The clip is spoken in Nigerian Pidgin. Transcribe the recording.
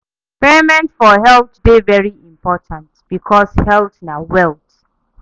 Payment for health de very important because health na wealth